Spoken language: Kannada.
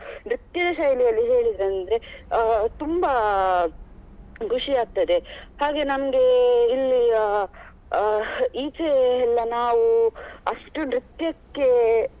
ಅಹ್ ನೃತ್ಯದ ಶೈಲಿಯಲ್ಲಿ ಹೇಳಿದ್ರಂದ್ರೆ ಅಹ್ ತುಂಬಾ ಅಹ್ ಖುಷಿಯಾಗ್ತದೆ ಹಾಗೆ ನಮ್ಗೆ ಇಲ್ಲಿ ಅಹ್ ಅಹ್ ಈಚೆ ಎಲ್ಲ ನಾವು ಅಷ್ಟು. ನೃತ್ಯಕ್ಕೆ